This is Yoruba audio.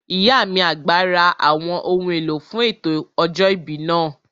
Ìyá mi àgbà ra àwọn ohun èlò fún ètò ọjọ́ ìbí náà